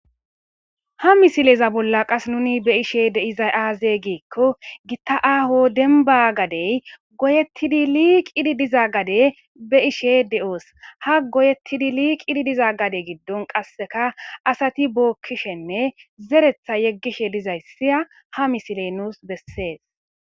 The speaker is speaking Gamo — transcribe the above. Ha misileza bolla qas nuni be ishe deiza aaze giikko gitta aaho denba gadey goyettidi liiqidi diza gade be ishe de7oos ha goyeettidi liiqidi diza gade giddon qasseka asati bookkishenne zeretha yeggishe dizayssia ha misile nuus bessees.